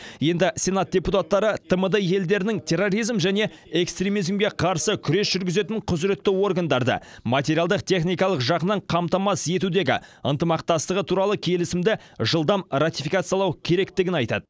енді сенат депутаттары тмд елдерінің терроризм және экстремизмге қарсы күрес жүргізетін құзыретті органдарды материалдық техникалық жағынан қамтамасыз етудегі ынтымақтастығы туралы келісімді жылдам ратификациялау керектігін айтады